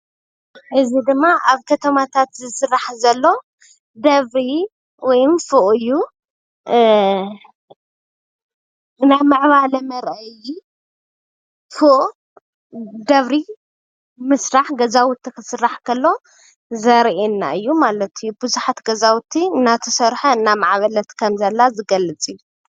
እዚ ድማ ኣብ ከተማታት ዝስራሕ ዘሎ ደብሪ ወይም ፎቅ እዩ። ብ ናይ ምዕባለ መርአይ ፎቅ ደብሪ ምስራሕ ገዛውቲ ክስራሕ ከሎ ዘርእየና እዩ ማለት እዩ። ቡዙሓት ገዛውቲ እናተሰርሐ እናማዕበለት ከም ዘላ ዝገልፅ እዩ።